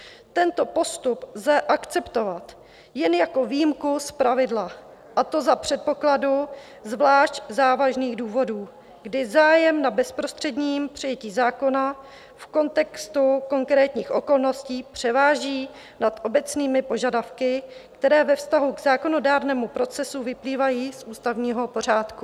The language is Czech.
Tento postup lze akceptovat jen jako výjimku z pravidla, a to za předpokladu zvlášť závažných důvodů, kdy zájem na bezprostředním přijetí zákona v kontextu konkrétních okolností převáží nad obecnými požadavky, které ve vztahu k zákonodárnému procesu vyplývají z ústavního pořádku.